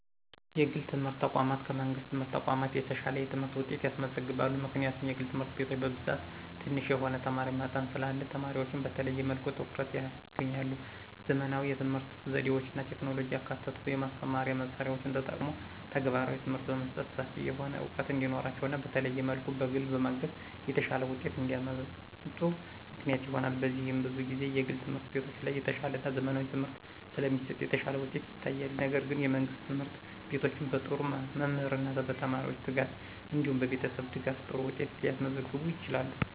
የግል የትምህርት ተቋማት ከመንግሥት የትምህርት ተቋማት የተሻለ የትምህርት ውጤት ያስመዘግባሉ። ምክንያቱም የግል ትምህርት ቤቶች በብዛት ትንሽ የሆነ የተማሪ መጠን ስላለ ተማሪዎችን በተለየ መልኩ ልዩ ትኩረት ያገኛሉ። _ ዘመናዊ የትምህርት ዘዴዎችና ቴክኖሎጂን ያካተቱ የማስተማሪያ መሳሪያዎችን ተጠቅሞ ተግባራዊ ትምህርት በመስጠት ሰፊ የሆነ ዕውቀት እንዲኖራቸውና በተለየ መልኩ በግል በማገዝ የተሻለ ውጤት እንዲያመጡ ምክንያት ይሆናል። በዚህም ብዙ ጊዜ የግል ትምህርት ቤቶች ላይ የተሻለና ዘመናዊ ትምህርት ስለሚሰጥ የተሻለ ውጤት ይታያል። ነገር ግን የመንግስት ትምህርት ቤቶችም በጥሩ መምህርና በተማሪዎች ትጋት እንዲሁም በቤተሰብ ድጋፍ ጥሩ ውጤት ሊያስገኙ ይችላሉ።